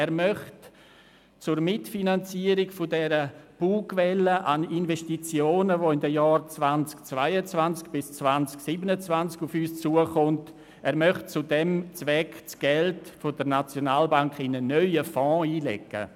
Er möchte zur Mitfinanzierung der Bugwelle an Investitionen, die in den Jahren 2022–2027 auf uns zukommt, das Geld der SNB in einen neuen Fonds einlegen.